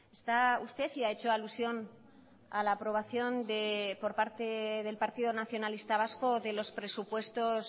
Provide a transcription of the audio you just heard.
está usted y ha hecho alusión a la aprobación por parte del partido nacionalista vasco de los presupuestos